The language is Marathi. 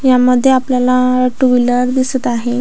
यामध्ये आपल्याला टू व्हीलर दिसत आहे.